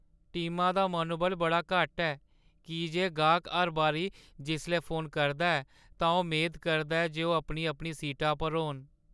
टीमा दा मनोबल बड़ा घट्ट ऐ की जे गाह्‌क हर बारी जिसलै फोन करदा ऐ तां ओह् मेद करदा ऐ जे ओह् अपनी-अपनी सीटा पर होन।